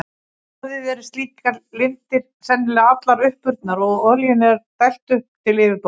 Nú orðið eru slíkar lindir sennilega allar uppurnar og olíunni er dælt upp til yfirborðsins.